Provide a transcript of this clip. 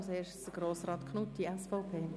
Zuerst hat Grossrat Knutti das Wort.